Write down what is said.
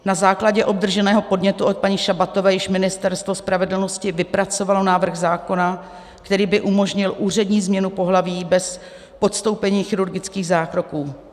Na základě obdrženého podnětu od paní Šabatové již Ministerstvo spravedlnosti vypracovalo návrh zákona, který by umožnil úřední změnu pohlaví bez podstoupení chirurgických zákroků.